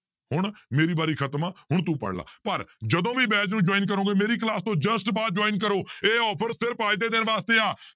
ਹੁਣ ਮੇਰੀ ਵਾਰੀ ਖ਼ਤਮ ਆ ਹੁਣ ਤੂੰ ਪੜ੍ਹ ਲਾ ਪਰ ਜਦੋਂ ਵੀ batch ਨੂੰ join ਕਰੋਂਗੇ ਮੇਰੀ class ਤੋਂ just ਬਾਅਦ join ਕਰੋ ਇਹ offer ਸਿਰਫ਼ ਅੱਜ ਦੇ ਦਿਨ ਵਾਸਤੇ ਆ